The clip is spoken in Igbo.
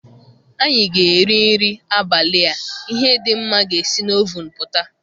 Anyị ga-eri nri abalị a, ihe dị mma ga-esi na oven pụta